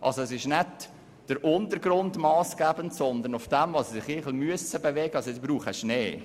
Somit ist nicht der Untergrund massgebend, sondern das Material, auf dem sie sich bewegen.